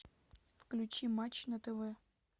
включи матч на тв